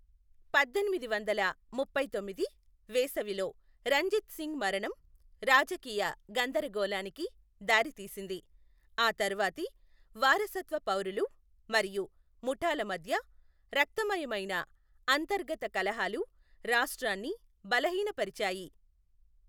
పద్దెనిమిది వందల ముప్పై తొమ్మిది వేసవిలో రంజిత్ సింగ్ మరణం రాజకీయ గందరగోళానికి దారితీసింది, ఆ తర్వాతి వారసత్వ పౌరులు మరియు ముఠాల మధ్య రక్తమాయమైన అంతర్గత కలహాలు రాష్ట్రన్ని బలహీన పరిచాయి.